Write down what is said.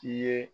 I ye